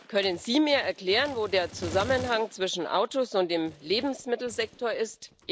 Können Sie mir erklären, wo der Zusammenhang zwischen Autos und dem Lebensmittelsektor ist?